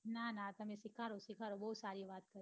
ના ના તમે સીખાડો સીખાડો બહુ સારી વાત છે